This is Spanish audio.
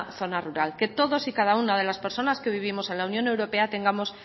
zona rural que todos y cada una de las personas que vivimos en la unión europea tengamos